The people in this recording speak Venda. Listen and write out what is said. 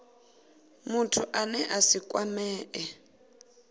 muthu ane a si kwamee